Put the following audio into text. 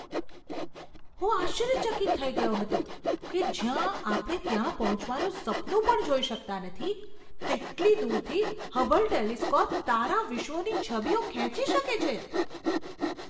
હું આશ્ચર્યચકિત થઈ ગયો હતો કે જ્યાં આપણે ત્યાં પહોંચવાનું સપનું પણ જોઈ શકતા નથી તેટલી દૂરથી હબલ ટેલિસ્કોપ તારાવિશ્વોની છબીઓ ખેંચી શકે છે!